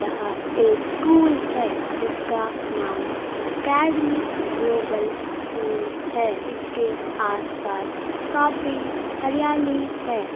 यह एक स्कूल है जिसका नाम एकेडमिक ग्लोबल स्कूल है इसके आसपास काफी हरियाली है।